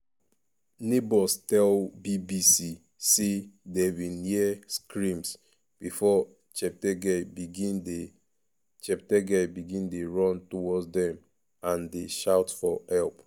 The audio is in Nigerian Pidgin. neighbours tell bbc say dem bin hear screams before cheptegei begin dey cheptegei begin dey run towards dem and dey shout for help.